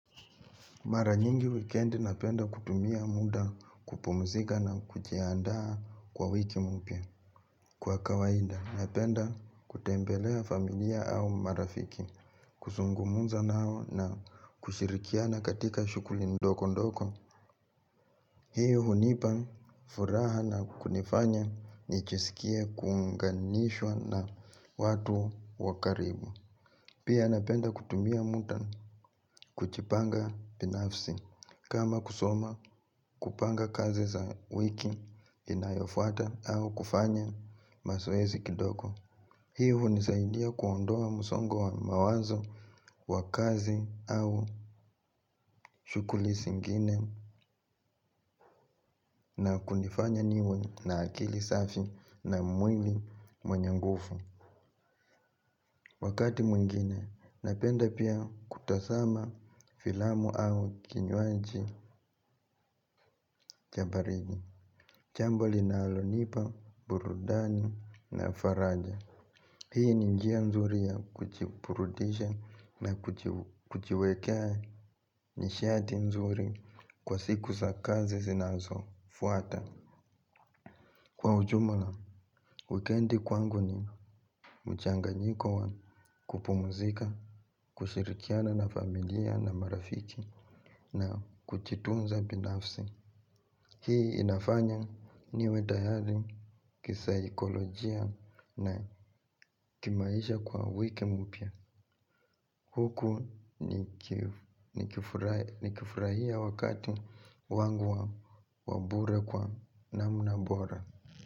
Mara nyingi wikendi napenda kutumia muda kupumzika na kujiaandaa kwa wiki mpya kwa kawaida. Napenda kutembelea familia au marafiki, kuzungumza nao na kushirikiana katika shughuli ndogo ndogo. Hiyo hunipa furaha na kunifanya nijisikie kuunganishwa na watu wa karibu. Pia napenda kutumia muda kujipanga binafsi kama kusoma kupanga kazi za wiki inayofuata au kufanya mazoezi kidogo. Hii hunisaidia kuondoa msongo wa mawazo wa kazi au shughuli zingine na kunifanya niwe na akili safi na mwili mwenye nguvu. Wakati mwingine napenda pia kutasama filamu au kinywaji cha baridi. Jambo linalonipa, burudani na faraja. Hii ni njia nzuri ya kujiburudisha na kujiwekea nishati nzuri kwa siku za kazi zinazofuata. Kwa ujumla, wikendi kwangu ni mchanganyiko wa kupumuzika, kushirikiana na familia na marafiki na kujitunza binafsi hii inafanya niwe tayari kisaikolojia na kimaisha kwa wiki mpya. Huku nikifurahia wakati wangu wa bure kwa namna bora.